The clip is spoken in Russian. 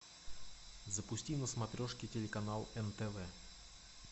запусти на смотрешке телеканал нтв